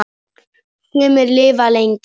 Sumir lifa lengi, aðrir stutt.